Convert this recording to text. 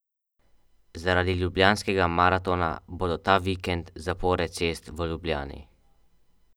Zaradi Ljubljanskega maratona bodo ta vikend zapore cest v Ljubljani.